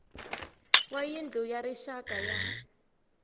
wa yindlu ya rixaka ya